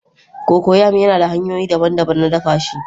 Cocoyam yana da hanyoyi daban-daban na dafa shi